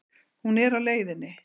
Hún er á leiðinni.